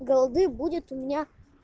голды будет у меня